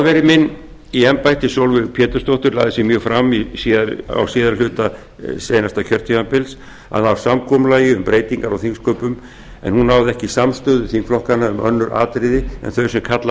forveri minni í embætti sólveig pétursdóttir lagði sig mjög fram á síðari hluta seinasta kjörtímabils að ná samkomulagi um breytingar á þingsköpum en hún náði ekki samstöðu þingflokkanna um önnur atriði en þau sem kalla